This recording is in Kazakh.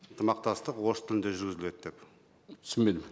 ынтымақтастық орыс тілінде жүргізіледі деп түсінбедім